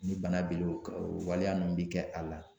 Ni bana bilo kan o waleya nunnu bɛ kɛ a la.